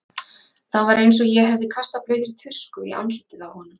Það var eins og ég hefði kastað blautri tusku í andlitið á honum.